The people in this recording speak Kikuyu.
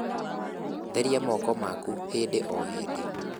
Therĩa moko maku hĩndĩ o hĩndĩ